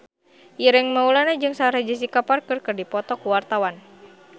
Ireng Maulana jeung Sarah Jessica Parker keur dipoto ku wartawan